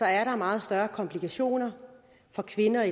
er der meget større komplikationer for kvinder